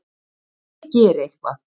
Ég geri eitthvað.